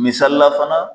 Misalila fana